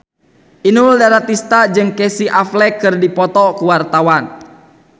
Inul Daratista jeung Casey Affleck keur dipoto ku wartawan